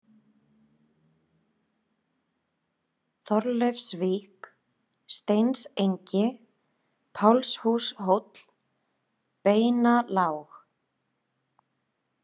Þorleifsvík, Steinsengi, Pálshúshóll, Beinalág